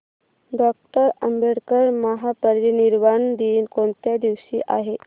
doctor Ambedkar महापरिनिर्वाण दिन कोणत्या दिवशी आहे